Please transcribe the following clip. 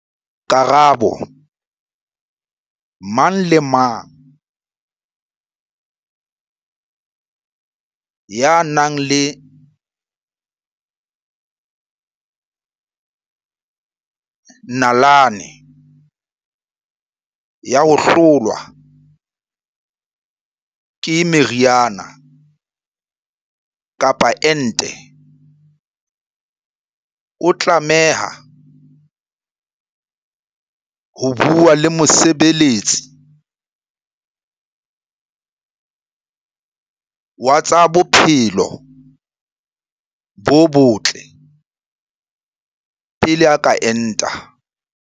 Karabo- Mang kapa mang ya nang le nalane ya ho hlolwa ke meriana kapa ente o tlameha ho bua le mosebe letsi wa tsa bophelo bo botle pele a ka enta.